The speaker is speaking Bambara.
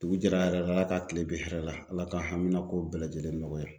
Dugu jɛra hɛrɛ la Ala ka kile bɛn hɛrɛ la Ala ka hamina kow bɛɛ lajɛlen nɔgɔya.